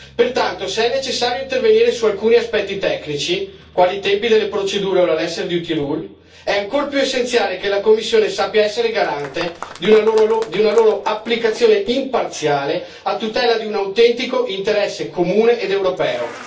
Pertanto, se è necessario intervenire su alcuni aspetti tecnici, quali i tempi delle procedure o la lesser duty rule è ancor più essenziale che la Commissione sappia essere garante di una loro applicazione imparziale a tutela di un autentico interesse comune ed europeo.